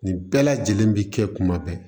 Nin bɛɛ lajɛlen bi kɛ kuma bɛɛ